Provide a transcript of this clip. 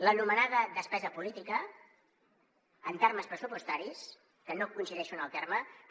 l’anomenada despesa política en termes pressupostaris que no coincideixo en el terme però